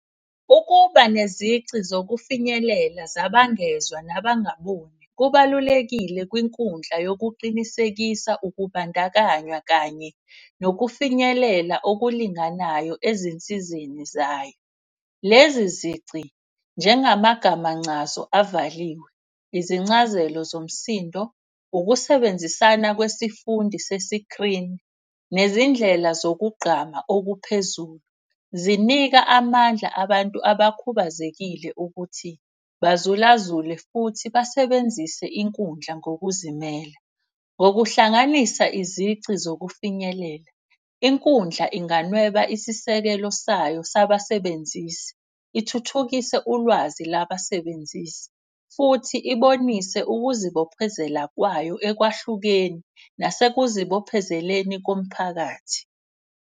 Ukuba nezici zokufinyelela zabangezwa nabangaboni kubalulekile kwinkundla yokuqinisekisa ukubandakanywa kanye nokufinyelela okulinganayo ezinsizeni zayo. Lezi zici njengamagama ncazo avaliwe, izincazelo zomsindo, ukusebenzisana kwesifundi sesikrini. Nezindlela zokugqama okuphezulu, zinika amandla abantu abakhubazekile ukuthi bazulazule. Futhi basebenzise inkundla ngokuzimela ngokuhlanganisa izici zokufinyelela. Inkundla inganweba isisekelo sayo zabasebenzisi, ithuthukise ulwazi labasebenzisi. Futhi ibonise ukuzibophezela kwayo ekwahlukeni nasekuzibophezeleni komphakathi.